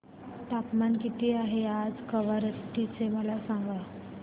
तापमान किती आहे आज कवारत्ती चे मला सांगा